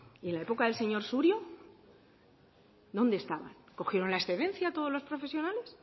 y en la época del señor surio dónde estaban cogieron la excedencia todos los profesionales